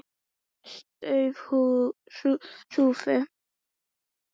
Störf hurfu.